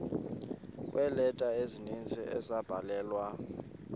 kweeleta ezininzi ezabhalelwa